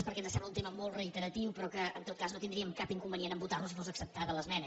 perquè ens sembla un tema molt reiteratiu però que en tot cas no tindríem cap inconve·nient a votar·lo si fos acceptada l’esmena